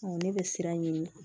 ne bɛ siran ɲin